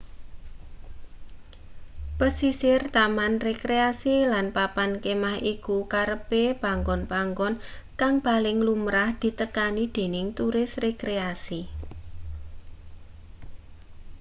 pesisir taman rekreasi lan papan kemah iku kerepe panggon-panggon kang paling lumrah ditekani dening turis rekreasi